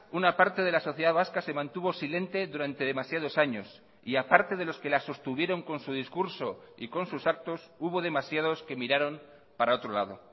una parte de la sociedad vasca se mantuvo silente durante demasiados años y a parte de los que la sostuvieron con su discurso y con sus actos hubo demasiados que miraron para otro lado